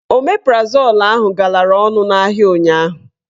Omeprazol ahụ galara ọnụ n'ahịa ụnyaahụ.